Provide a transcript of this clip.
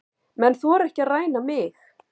Menn þora ekki að ræna mig.